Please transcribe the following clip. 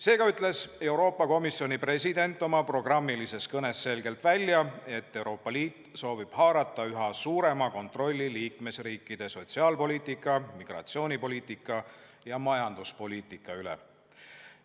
Seega ütles Euroopa Komisjoni president oma programmilises kõnes selgelt välja, et Euroopa Liit soovib haarata üha suurema kontrolli liikmesriikide sotsiaalpoliitika, migratsioonipoliitika ja majanduspoliitika üle.